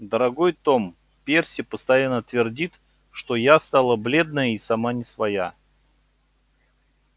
дорогой том перси постоянно твердит что я стала бледная и сама не своя